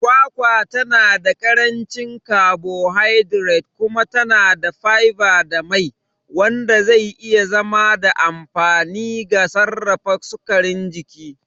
Kwakwa tana da ƙarancin carbohydrates kuma yana da fiber da mai, wanda zai iya zama da amfani ga sarrafa sukarin jini.